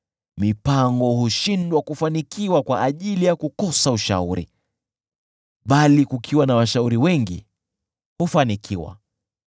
Mipango hushindwa kufanikiwa kwa ajili ya kukosa ushauri, bali kukiwa na washauri wengi hufanikiwa.